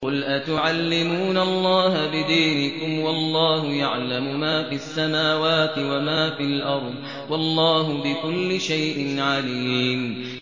قُلْ أَتُعَلِّمُونَ اللَّهَ بِدِينِكُمْ وَاللَّهُ يَعْلَمُ مَا فِي السَّمَاوَاتِ وَمَا فِي الْأَرْضِ ۚ وَاللَّهُ بِكُلِّ شَيْءٍ عَلِيمٌ